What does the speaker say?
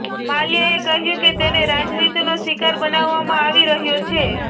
માલ્યાએ કહ્યું કે તેને રાજનીતિનો શિકાર બનાવવામાં આવી રહ્યો છે